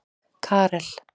Karel